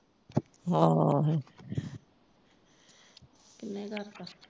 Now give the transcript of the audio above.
ਹਾਂ ਹਾਏ ਕਿੰਨੇ ਕਰਤਾ